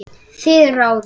Þið ráðið.